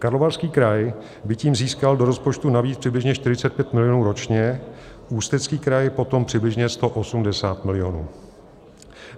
Karlovarský kraj by tím získal do rozpočtu navíc přibližně 45 milionů ročně, Ústecký kraj potom přibližně 180 milionů.